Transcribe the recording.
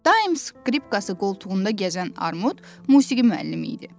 Daim skripkası qoltuğunda gəzən Armud musiqi müəllimi idi.